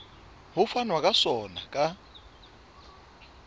ho fanwa ka sona ka